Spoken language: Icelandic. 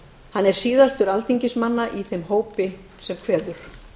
hann er síðastur alþingismanna í þeim hópi sem kveður